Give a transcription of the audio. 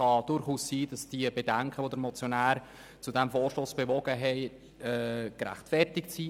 Es kann durchaus sein, dass die Bedenken, die den Motionär zu diesem Vorstoss bewogen haben, gerechtfertigt sind.